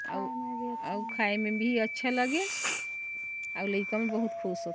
अउ अउ खाए में भी अच्छा लगिस अउ लाइका मन भी खुश होइस।